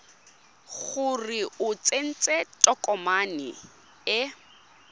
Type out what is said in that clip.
gore o tsentse tokomane e